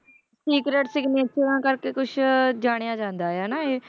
Secret ਸਿਗਨੇਚਰਾਂ ਕਰਕੇ ਕੁਛ ਜਾਣਿਆ ਜਾਂਦਾ ਹੈ ਨਾ ਇਹ